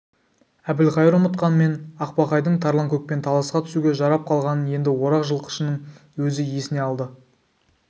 әбілқайыр ұмытқанмен ақбақайдың тарланкөкпен таласқа түсуге жарап қалғанын енді орақ жылқышының өзі есіне салды